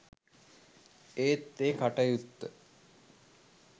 ඒත් ඒ කටයුත්ත